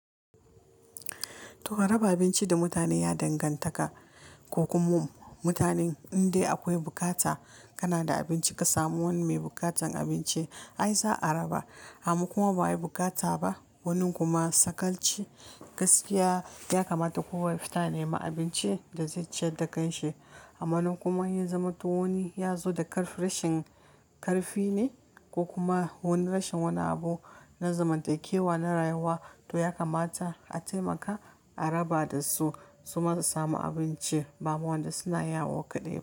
To raba abinci da mutane ya danganta ka, ko kuma mutanen inda akwai bukata kana da abinci ka samu wani mai bukatan abinci ai za a raba. Hamman kuma ba wi bukata ba. Wanin kuma sakalci, gaskiya ya kamata kowane mutane ma abinci da zai ci da kanshi. Amma nan kuma ya zama to wani ya zo da karfi, rashin karfi ne ko kuma wani rashin wani abu na zamantakewa, na rayuwa to ya kamata a taimaka, a raba da su su kuma su samu abinci. Ba wanda suna yawo kaɗai ba.